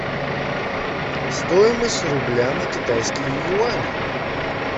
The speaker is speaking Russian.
стоимость рубля на китайские юани